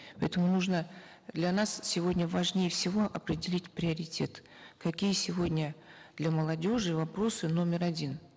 поэтому нужно для нас сегодня важнее всего определить приоритет какие сегодня для молодежи вопросы номер один